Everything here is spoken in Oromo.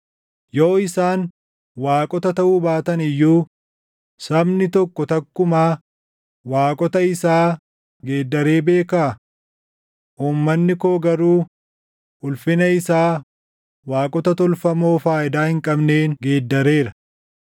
Yoo isaan waaqota taʼuu baatan iyyuu sabni tokko takkumaa waaqota isaa geeddaree beekaa? Uummanni koo garuu ulfina isaa waaqota tolfamoo // faayidaa hin qabneen geeddareera.